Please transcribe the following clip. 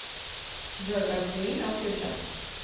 джой портвейн окьюджав